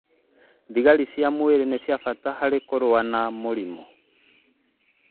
Thigari cia mwĩrĩ nĩ cia bata harĩ kũrũa na mĩrimũ